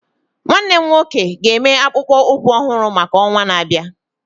Nwannem nwoke ga eme akpụkpọ ụkwụ ọhụrụ maka ọnwa na-abịa